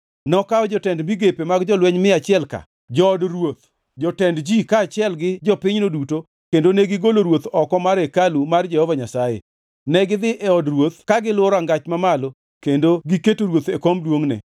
Nokawo jotend migepe mag jolweny mia achiel-ka, jood ruoth, jotend ji kaachiel gi jopinyno duto kendo negigolo ruoth oko mar hekalu mar Jehova Nyasaye. Negidhi e od ruoth ka giluwo Rangach Mamalo kendo giketo ruoth e kom duongʼne.